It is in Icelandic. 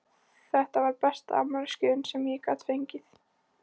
Þetta var besta afmælisgjöfin sem ég gat fengið!